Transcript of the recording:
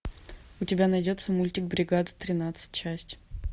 у тебя найдется мультик бригада тринадцать часть